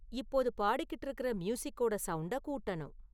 இப்போது பாடிக்கிட்டு இருக்குற மியூசிக்கோட சவுண்டக் கூட்டனும்